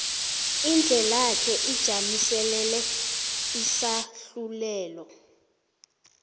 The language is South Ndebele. indlelake ijamiselele isahlulelo